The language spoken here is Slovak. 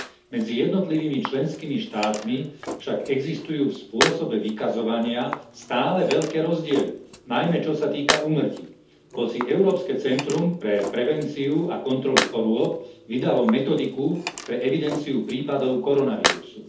Medzi jednotlivými členskými štátmi však existujú v spôsobe vykazovania stále veľké rozdiely, najmä čo sa týka úmrtí, hoci Európske centrum pre prevenciu a kontrolu chorôb vydalo metodiku pre evidenciu prípadov koronavírusu.